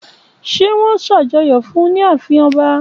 Ṣé wón ṣàjọyọ̀ fún ní ààfin ọba?